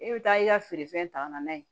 E bɛ taa i ka feerefɛn ta ka na n'a ye